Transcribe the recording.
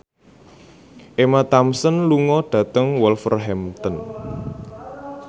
Emma Thompson lunga dhateng Wolverhampton